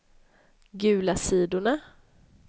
gula sidorna